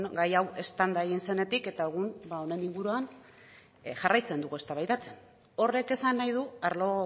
gai hau eztanda egin zenetik eta egun honen inguruan jarraitzen dugu eztabaidatzen horrek esan nahi du arlo